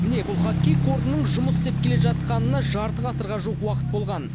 міне бұл хоккей кордының жұмыс істеп келе жатқанына жарты ғасырға жуық уақыт болған